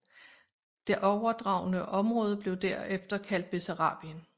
Det overdragne område blev herefter kaldet Bessarabien